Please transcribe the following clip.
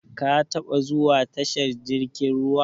Ka taɓa zuwa tashar jirkin ruwa?